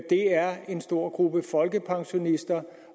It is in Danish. er en stor gruppe folkepensionister